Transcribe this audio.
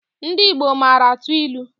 Ndị Igbo mara atụ ilu